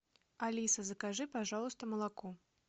алиса закажи пожалуйста молоко